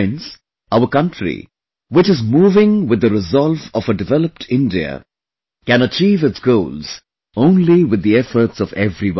Friends, our country, which is moving with the resolve of a developed India, can achieve its goals only with the efforts of everyone